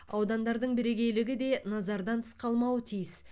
аудандардың бірегейлігі де назардан тыс қалмауы тиіс